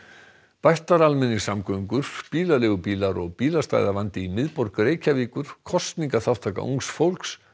bættar almenningssamgöngur bílaleigubílar og bílastæðavandi í miðborg Reykjavíkur kosningaþátttaka ungs fólks